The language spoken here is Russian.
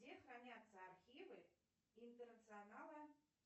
где хранятся архивы интернационала